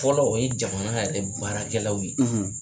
Fɔlɔ o ye jamana yɛrɛ baarakɛlaw ye